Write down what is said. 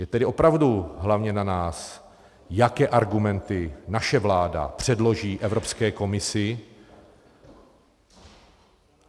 Je tedy opravdu hlavně na nás, jaké argumenty naše vláda předloží Evropské komisi.